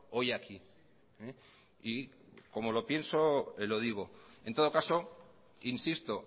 hoy aquí y como lo pienso lo digo en todo caso insisto